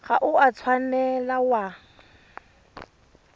ga o a tshwanela wa